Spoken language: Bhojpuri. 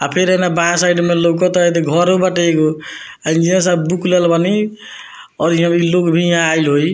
आ फिर एने बायां साइड में लउकता एदे घरो बाटे एगो आ इंजीनियर साहब बुक ले ले बानी और इ लोग भी यहाँ आइल होई।